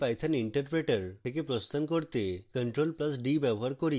ipython interpreter থেকে প্রস্থান করতে ctrl + d ব্যবহার করি